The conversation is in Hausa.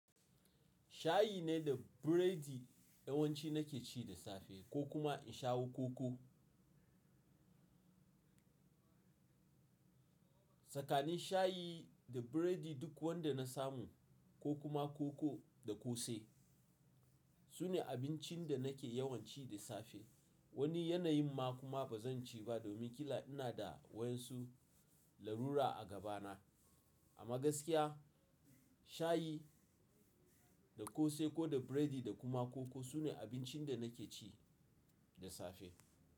Shayi ne da biredi yawanci nake ci da safe. Ko kuma in shawo koko. Tsakanin shayi da biredi duk wanda na samu ko kuma koko da kosai sune abincin da nake yawan ci da safe. Wani yanayin ma kuma ba zan ci ba domin kila ina da wayan su larura a gabana. A magaskiya shayi da kose ko da biredi da kuma koko sune abincin da nake ci da safe.